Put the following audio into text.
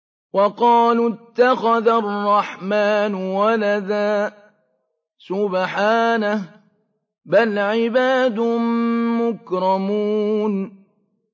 وَقَالُوا اتَّخَذَ الرَّحْمَٰنُ وَلَدًا ۗ سُبْحَانَهُ ۚ بَلْ عِبَادٌ مُّكْرَمُونَ